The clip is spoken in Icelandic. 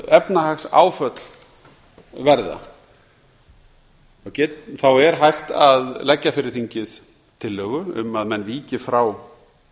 efnahagsáföll verða er hægt að leggja fyrir þingið tillögu um að menn víki frá